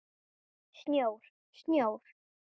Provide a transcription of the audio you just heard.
Snjór, snjór.